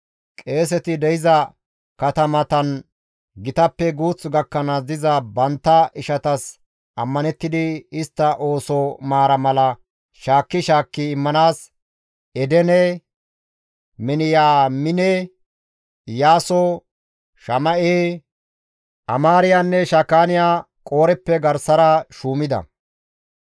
Qeeseti de7iza katamatan gitappe guuth gakkanaas diza bantta ishatas ammanettidi istta ooso maara mala shaakki shaakki immanaas Edene, Miniyaamine, Iyaaso, Shama7e, Amaariyanne Shakaaniyay Qooreppe garsara shuumida.